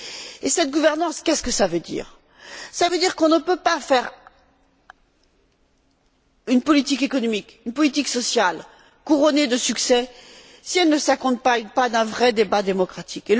Et cette gouvernance, qu'est ce que ça veut dire? Ça veut dire qu'on ne peut pas faire une politique économique et une politique sociale couronnées de succès si elles ne s'accompagnent pas d'un vrai débat démocratique.